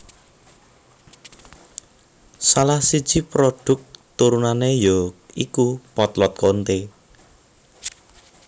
Salah siji prodhuk turunane ya iku potlot Konte